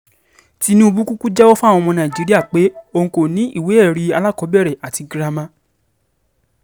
tinubu kúkú jẹ́wọ́ fáwọn ọmọ nàìjíríà pé o kò ní ìwé-ẹ̀rí alákọ̀ọ́bẹ̀rẹ̀ àti girama